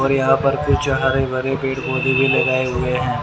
और यहां पर कुछ हरे भरे पेड़ पौधे लगाए हुए हैं।